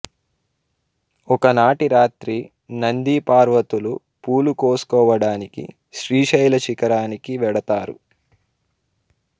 ఒకనాటి రాత్రి నంది పార్వతులు పూలుకోసుకోవడానికి శ్రీశైల శిఖరానికి వెడతారు